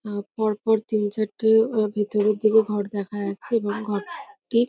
হু পর পর তিন চারটে আহ ভেতরের দিকে ঘর দেখা যাচ্ছে এবং ঘর টি --